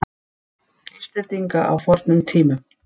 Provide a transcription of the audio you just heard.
Íslendinga á fornum tímum.